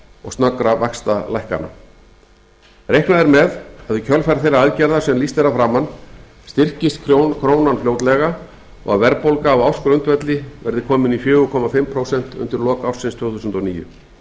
og snöggra vaxtalækkana reiknað er með að í kjölfar þeirra aðgerða sem lýst er að framan styrkist krónan fljótlega og að verðbólga á ársgrundvelli verði komin í fjögur og hálft prósent undir lok ársins tvö þúsund og níu gert